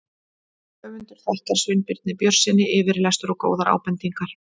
Höfundur þakkar Sveinbirni Björnssyni yfirlestur og góðar ábendingar.